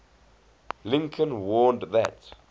lincoln warned that